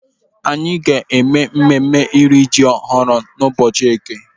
Anyị ga-eme mmemme iri ji ọhụrụ n'ụbọchị eke.